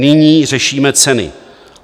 Nyní řešíme ceny.